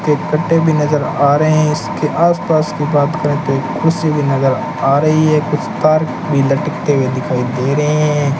एक कट्टे भी नजर आ रहे हैं इसके आसपास की बात करें तो एक कुर्सी भी आ रही है कुछ तार भी लटकते हुए दिखाई दे रहे हैं।